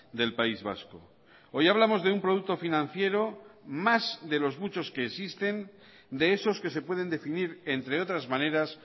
del país vasco hoy hablamos de un producto financiero más de los muchos que existen de esos que se pueden definir entre otras maneras